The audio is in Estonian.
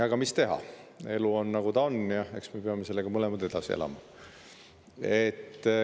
Aga mis teha, elu on, nagu ta on, ja eks me peame sellega mõlemad edasi elama.